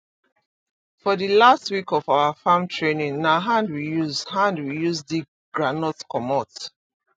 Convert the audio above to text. for the last week of our farm training na hand we use hand we use dig groundnut comot